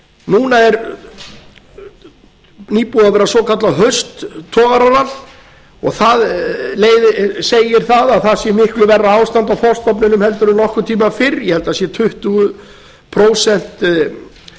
núna er nýbúið að vera svoklaað hausttogararalli og það segir að það sé miklu verra ástand á þorskstofninum en nokkurn tíma fyrr ég held að það sé tuttugu og níu prósentum